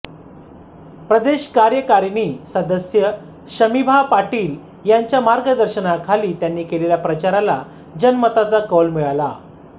प्रदेश कार्यकारिणी सदस्य शमिभा पाटील यांच्या मार्गदर्शनाखाली त्यांनी केलेल्या प्रचारला जनमताचा कौल मिळाला